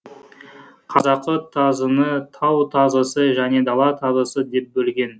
қазақы тазыны тау тазысы және дала тазысы деп бөлген